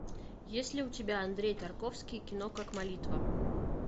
есть ли у тебя андрей тарковский кино как молитва